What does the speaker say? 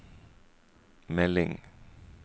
melding